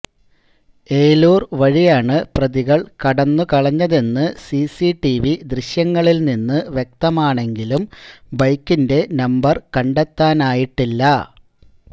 ഏലൂർ വഴിയാണ് പ്രതികൾ കടന്നുകളഞ്ഞതെന്നു സിസിടിവി ദൃശ്യങ്ങളിൽനിന്നു വ്യക്തമാണെങ്കിലും ബൈക്കിന്റെ നമ്പർ കണ്ടെത്താനായിട്ടില്ല